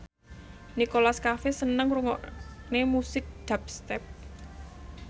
Nicholas Cafe seneng ngrungokne musik dubstep